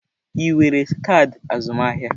Ị nwere kaadị azụmahịa?